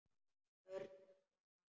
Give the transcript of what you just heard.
Örn hugsaði málið.